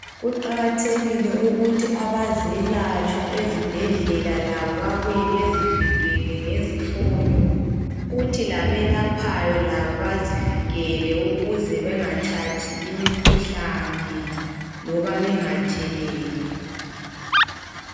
Kuqakathekile ukuthi abazelatshwa ezibhedlela labo babuye bezivikele ngezifonyo kuthi labelaphayo labo bazivikele ukuze bengathathi imikhuhlane loba bengatheleli.